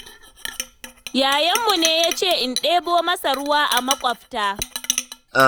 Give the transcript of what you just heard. Ya'yanmu ne ya ce in ɗebo masa ruwa a makwabta.